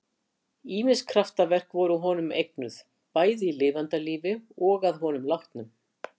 Ýmis kraftaverk voru honum eignuð, bæði í lifanda lífi og að honum látnum.